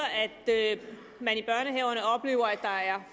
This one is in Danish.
at der er